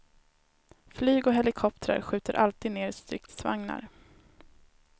Flyg och helikoptrar skjuter alltid ned stridsvagnar.